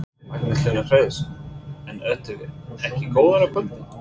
Magnús Hlynur Hreiðarsson: En ertu ekki góður á kvöldin?